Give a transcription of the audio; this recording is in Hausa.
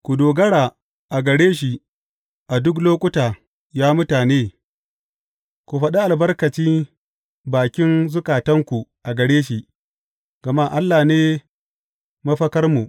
Ku dogara a gare shi a duk lokuta, ya mutane; ku faɗi albarkaci bakin zukatanku a gare shi, gama Allah ne mafakarmu.